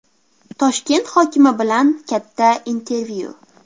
Toshkent hokimi bilan katta intervyu.